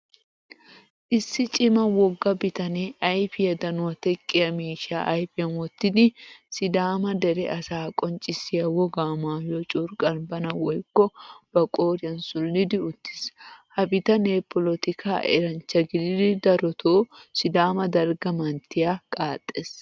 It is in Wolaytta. Issi cima wogga biittane ayfiyaa danuwa teqqiya miishsha ayfiyan wottidi sidama dere asa qonccisiya wogaa maayuwaa curqqan bana woyko ba qoriyan sulidi uttiis. Ha bittane polettika eranchcha gididi darotto sidama dalga manttiyaa qaaxees.